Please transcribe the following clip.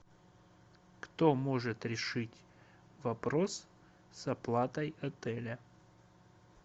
кто может решить вопрос с оплатой отеля